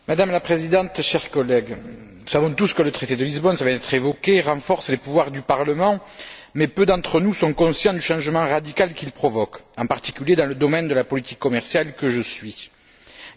Madame la Présidente, chers collègues, nous savons tous que le traité de Lisbonne, cela vient d'être évoqué, renforce les pouvoirs du Parlement, mais peu d'entre nous sont conscients du changement radical qu'il provoque, en particulier dans le domaine de la politique commerciale, que je suis de près.